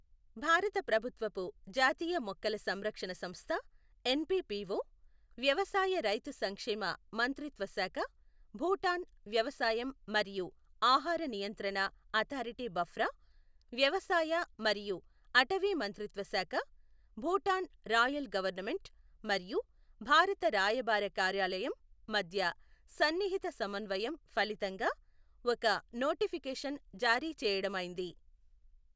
భారత ప్రభుత్వపు జాతీయ మొక్కల సంరక్షణ సంస్థ ఎన్పీపీఓ, వ్యవసాయ రైతు సంక్షేమ మంత్రిత్వ శాఖ, భూటాన్ వ్యవసాయం మరియు ఆహార నియంత్రణ అథారిటీ భఫ్రా, వ్యవసాయ మరియు అటవీ మంత్రిత్వ శాఖ, భూటాన్ రాయల్ గవర్నమెంట్ మరియు భారత రాయబార కార్యాలయం మధ్య సన్నిహిత సమన్వయం ఫలితంగా ఒక నోటిఫికేషన్ జారీ చేయడమైంది.